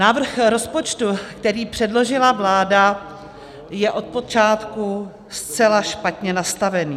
Návrh rozpočtu, který předložila vláda, je od počátku zcela špatně nastavený.